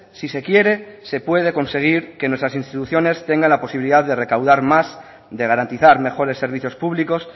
si se quiere se puede conseguir que nuestras instituciones tengan la posibilidad de recaudar más de garantizar mejores servicios públicos